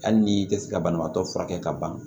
Hali ni tɛ se ka banabaatɔ furakɛ ka ban